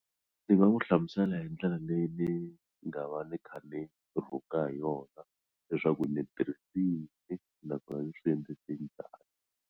Ni nga n'wi hlamusela hi ndlela leyi ni nga va ni kha ni rhunga hi yona leswaku ni tirhise yini nakona ni swi endlise njhani.